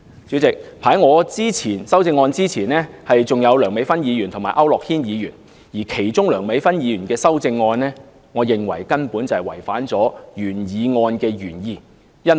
主席，在我的修正案之前還有梁美芬議員及區諾軒議員的修正案，而梁議員的修正案，我認為根本違反了原議案的原意。